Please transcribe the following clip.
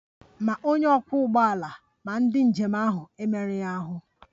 Ma onye ọkwọ ụgbọala ma ndị njem ahụ emerụghị ahụ